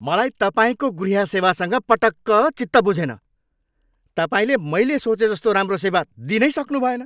मलाई तपाईँको गृह सेवासँग पटक्क चित्त बुझेन। तपाईँले मैले सोचेजस्तो राम्रो सेवा दिनै सक्नुभएन।